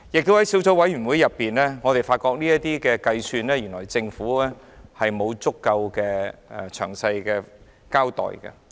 在小組委員會進行審議期間，我們亦發現就地價的計算，政府沒有作出詳細交代。